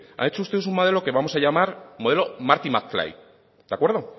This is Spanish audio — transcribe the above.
han hecho ustedes un modelo que vamos a llamar modelo de acuerdo